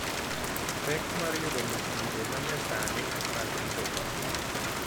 pek mar yudo masinde ma nyasani mag rito tong'.